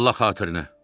Allah xatirinə.